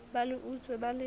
ba le utswe ba le